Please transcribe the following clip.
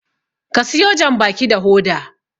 ka siyo janbaki da Hoda!